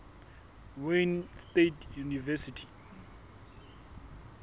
wayne state university